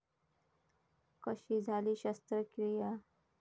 कशी झाली शस्त्रक्रिया